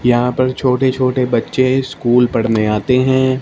यहां पर छोटे छोटे बच्चे स्कूल पढ़ने आते है।